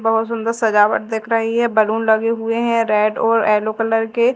बहुत सुंदर सजावट दिख रही है बैलून लगे हुए हैं रेड और येलो कलर के।